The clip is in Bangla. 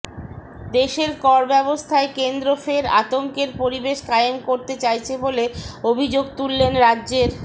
দেশের কর ব্যবস্থায় কেন্দ্র ফের আতঙ্কের পরিবেশ কায়েম করতে চাইছে বলে অভিযোগ তুললেন রাজ্যের